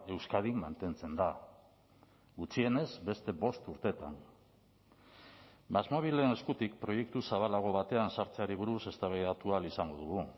euskadin mantentzen da gutxienez beste bost urtetan másmóvilen eskutik proiektu zabalago batean sartzeari buruz eztabaidatu ahal izango dugu